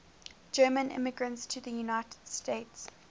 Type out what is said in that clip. german immigrants to the united states